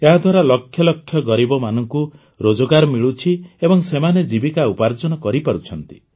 ଏହାଦ୍ୱାରା ଲକ୍ଷ ଲକ୍ଷ ଗରିବମାନଙ୍କୁ ରୋଜଗାର ମିଳୁଛି ଏବଂ ସେମାନେ ଜୀବିକା ଉପାର୍ଜନ କରିପାରୁଛନ୍ତି